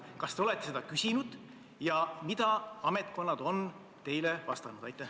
Kas te olete seda küsinud ja mida ametkonnad on teile vastanud?